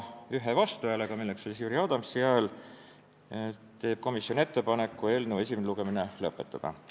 Ühe vastuhäälega teeb komisjon ettepaneku eelnõu esimene lugemine lõpetada.